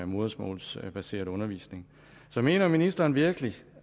modersmålsbaseret undervisning så mener ministeren virkelig